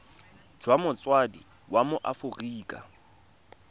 jwa motsadi wa mo aforika